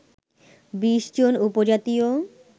২০ জন উপজাতীয়